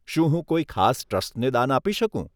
શું હું કોઈ ખાસ ટ્રસ્ટને દાન આપી શકું?